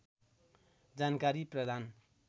जानकारी प्रदान